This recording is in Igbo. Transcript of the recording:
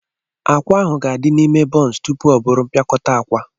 Akwa ahụ ga-adị n'ime buncu tupu ọ bụrụ mpịakọta akwa.